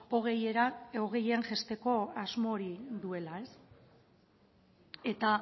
hogeian jaisteko asmo hori duela eta